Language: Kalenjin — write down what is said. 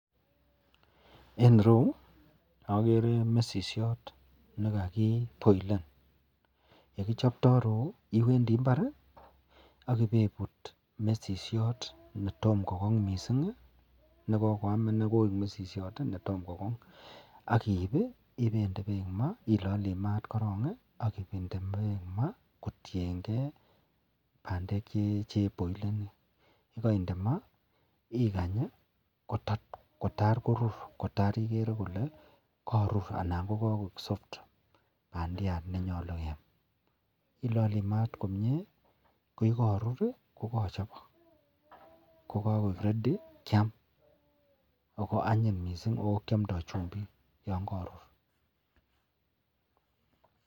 En ireyu akere mesisiot nekakiboilen yekichoptoibiroyu kewendi imbar akiwe ibut mesishek netomo kogong mising nekikoyam Koi mesisiot inei akiib akilanchi mat korong aginde bek ma kotiyengei ak bandek cheboileni ak yikainde ma ikanybkotar Korur igere Kole Karur bandiat nenyalu keyam akilale mat komie ak yekarur kokakochobok akokakoik ready Kiam ako anyin mising akiamdo chumbik yangarur.